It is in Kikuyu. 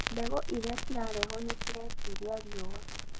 Mbegũ iria ciraheanwo nĩ ciretiiria riũwa